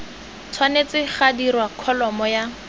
tshwanetse ga dirwa kholomo ya